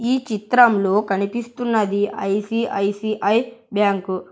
ఈ చిత్రంలో కనిపిస్తున్నది ఐ_సి_ఐ_సి_ఐ బ్యాంకు .